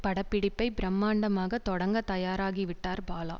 பட பிடிப்பை பிரமாண்டமாக தொடங்க தயாராகிவிட்டார் பாலா